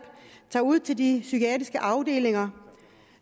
tager ud til de psykiatriske afdelinger